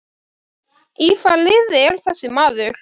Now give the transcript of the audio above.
Í hvaða liði er þessi maður?